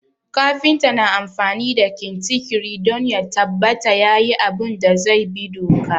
Kafinta na amfani da kintikiri don ya tabbata yayi abun da zai bi doka